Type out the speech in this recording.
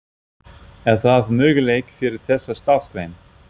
Er það möguleiki fyrir þessa starfsgrein?